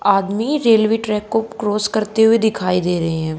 आदमी railway track को cross करते हुए दिखाई दे रहे हैं।